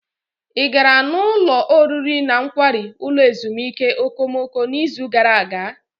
Ị gara n'ụlọ oriri na nkwari ulo ezimuike okomoko n'izu gara aga?